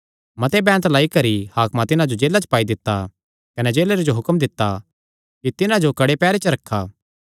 मते बैंत लगाई करी हाकमां तिन्हां जो जेला च पाई दित्ता कने जेलरे जो हुक्म दित्ता कि तिन्हां जो कड़े पैहरे च रखा